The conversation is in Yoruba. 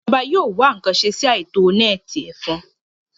Ìjọba yóò wá ǹkan ṣe sí àìtó nẹ́ẹ̀tì ẹ̀fọn